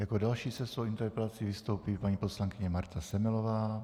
Jako další se svou interpelací vystoupí paní poslankyně Marta Semelová.